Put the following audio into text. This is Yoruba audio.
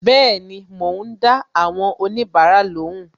Bẹẹni, mo ń dá àwọn onibara lóhùn